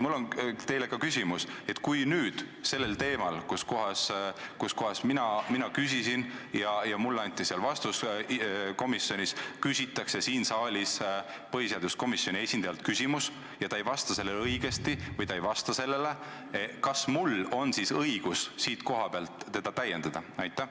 Mul on teile küsimus: kui sellelsamal teemal, mille kohta mina komisjonis küsisin ja millele ka vastuse sain, esitatakse siin saalis põhiseaduskomisjoni esindajale küsimus ja ta ei vasta sellele õigesti või ei vasta üldse, siis kas mul on õigus teda siit kohapealt täiendada?